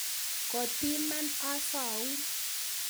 Kotiiman osoun